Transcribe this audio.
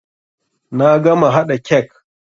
Na gama haɗa kek.